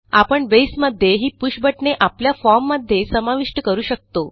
आपण बेसमध्ये ही पुष बटणे आपल्या फॉर्म मध्ये समाविष्ट करू शकतो